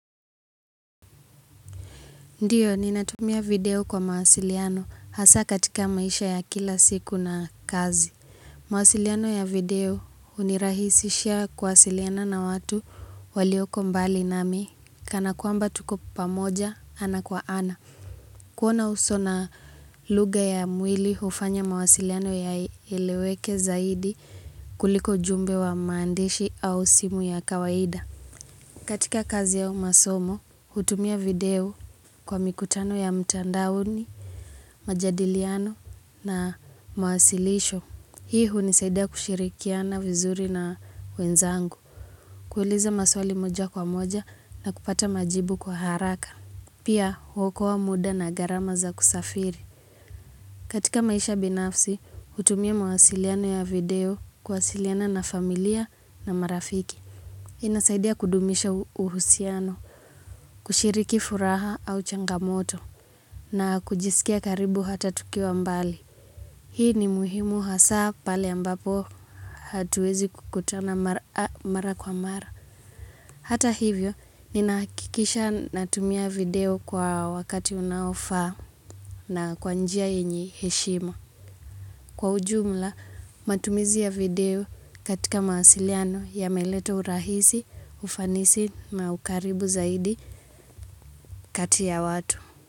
Ndiyo, ninatumia video kwa mawasiliano hasa katika maisha ya kila siku na kazi. Mwasiliano ya video hunirahisishia kuwasiliana na watu walioko mbali nami, kana kwamba tuko pamoja ana kwa ana. Kuona uso na lugha ya mwili hufanya mawasiliano yaeleweke zaidi kuliko ujumbe wa maandishi au simu ya kawaida. Katika kazi au masomo, hutumia video kwa mikutano ya mtandaoni, majadiliano na mawasilisho. Hii hunisaidia kushirikiana vizuri na wenzangu, kuuliza maswali moja kwa moja na kupata majibu kwa haraka. Pia, huokoa muda na garama za kusafiri. Katika maisha binafsi, hutumia mwasiliano ya video, kuwasiliana na familia na marafiki. Inasaidia kudumisha uhusiano, kushiriki furaha au changamoto, na kujisikia karibu hata tukiwa mbali. Hii ni muhimu hasaa pale ambapo hatuwezi kukutana mara kwa mara. Hata hivyo, ninahakikisha natumia video kwa wakati unaofaa na kwa njia yenye heshima. Kwa ujumla, matumizi ya video katika mawasiliano yameleta urahisi, ufanisi na ukaribu zaidi kati ya watu.